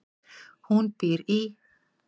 Hún býr í